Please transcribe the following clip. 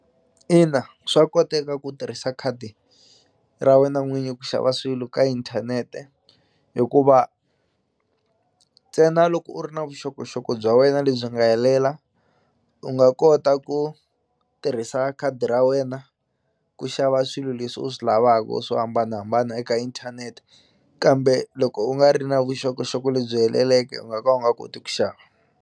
Ina swa koteka ku tirhisa khadi ra wena n'winyi ku xava swilo ka inthanete hikuva ntsena loko u ri na vuxokoxoko bya wena lebyi nga helela u nga kota ku tirhisa khadi ra wena ku xava swilo leswi u swi lavaku u swo hambanahambana eka inthanete kambe loko u nga ri na vuxokoxoko lebyi heleleke u nga ka u nga koti ku xava.